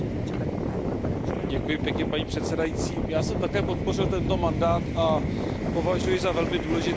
Paní předsedající, já jsem také podpořil tento mandát a považuji za velmi důležité dvě věci v mandátu.